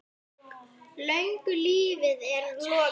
Löngu lífi er lokið.